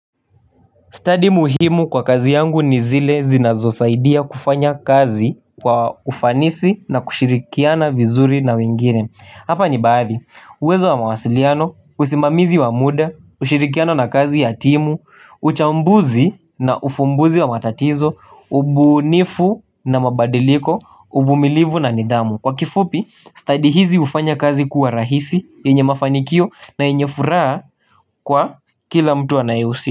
Stadi muhimu kwa kazi yangu ni zile zinazosaidia kufanya kazi kwa ufanisi na kushirikiana vizuri na wingine. Hapa ni baadhi, uwezo wa mawasiliano, usimamizi wa muda, ushirikiano na kazi ya timu, uchambuzi na ufumbuzi wa matatizo, ubunifu na mabadiliko, uvumilivu na nidamu. Kwa kifupi, study hizi ufanya kazi kuwa rahisi, yenye mafanikio na yenye furaa kwa kila mtu anayeusi.